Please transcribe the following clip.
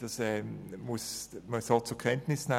Das muss man fairerweise so zur Kenntnis nehmen.